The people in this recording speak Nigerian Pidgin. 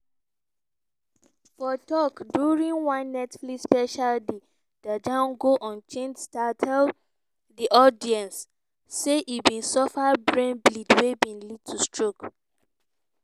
for tok during one netflix special di django unchained star tell di audience say e bin suffer "brain bleed wey bin lead to stroke".